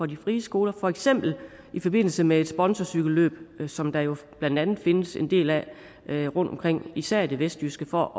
de frie skoler for eksempel i forbindelse med sponsorcykelløb som der jo blandt andet findes en del af rundtomkring især i det vestjyske for